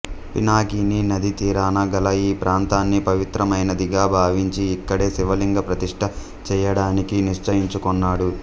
పినాకినీ నదీ తీరాన గల ఈ ప్రాంతాన్ని పవిత్రమైనదిగా భావించి ఇక్కడే శివలింగ ప్రతిష్ఠ చేయడానికి నిశ్చయించుకొన్నాడు